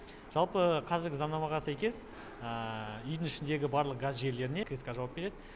жалпы қазіргі заңнамаға сәйкес үйдің ішіндегі барлық газ желілеріне кск жауап береді